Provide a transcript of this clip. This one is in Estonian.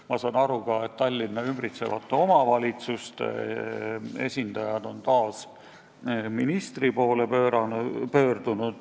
Ma saan aru ka, et Tallinna ümbritsevate omavalitsuste esindajad on taas ministri poole pöördunud.